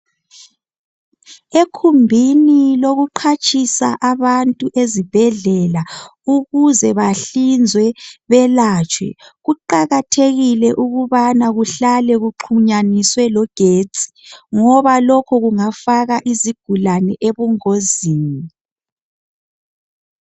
Ekhumbini lokuqhatshisa abantu ezibhedlela ukuze bahlinzwe belatshwe Kuqakathekile ukubana kuhlale kuxhumaniswe logetsi ngoba lokhu kungafaka izigulane ebungozini.